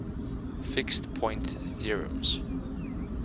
fixed point theorems